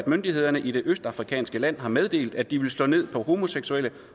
myndighederne i det østafrikanske land har meddelt at de vil slå ned på homoseksuelle